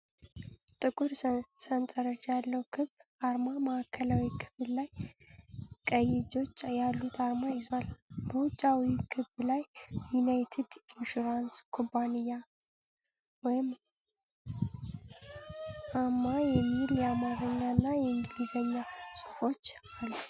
ጥቁር ሰንጠረዥ ያለው ክብ አርማ ማዕከላዊ ክፍል ላይ ቀይ እጆች ያሉት አርማ ይዟል። በውጫዊው ክብ ላይ "ዩናይትድ ኢንሹራንስ ኩባንያ አ.ማ" የሚል የአማርኛና የእንግሊዝኛ ጽሑፎች አሉ።